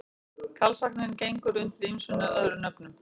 Karlsvagninn gengur undir ýmsum öðrum nöfnum.